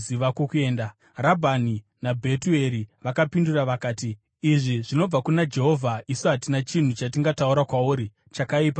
Rabhani naBhetueri vakapindura vakati, “Izvi zvinobva kuna Jehovha; isu hatina chinhu chatingataura kwauri, chakaipa kana chakanaka.